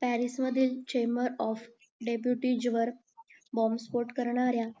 Paris मध्ये chamber of deputy वर बॉम्बस्फोट करणाऱ्या